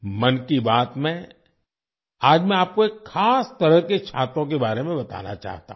'मन की बात' में आज मैं आपको एक खास तरह के छातों के बारे में बताना चाहता हूँ